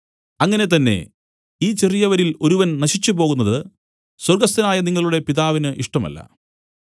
അങ്ങനെ തന്നെ ഈ ചെറിയവരിൽ ഒരുവൻ നശിച്ചുപോകുന്നത് സ്വർഗ്ഗസ്ഥനായ നിങ്ങളുടെ പിതാവിന് ഇഷ്ടമല്ല